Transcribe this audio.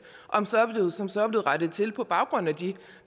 og som så er blevet rettet til på baggrund af de